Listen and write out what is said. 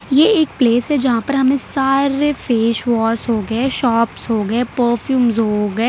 ये एक प्लेस है यहां पर हमें सारे फेस वॉश हो गए शॉप्स हो गए परफ्यूम्स हो गए।